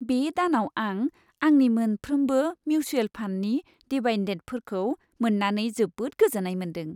बे दानाव आं आंनि मोनफ्रोमबो मिउचुएल फान्डनि डिभायडेन्डफोरखौ मोन्नानै जोबोद गोजोन्नाय मोनदों।